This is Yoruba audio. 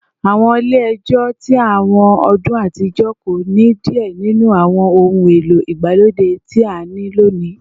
Awọn ile-ẹjọ ti awọn ọdun atijọ ko ni diẹ ninu awọn ohun elo igbalode ti a ni loni